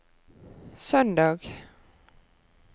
søndag